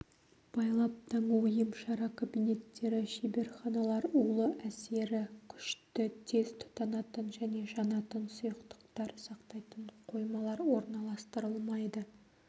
байлап-таңу емшара кабинеттері шеберханалар улы әсері күшті тез тұтанатын және жанатын сұйықтықтар сақтайтын қоймалар орналастырылмайды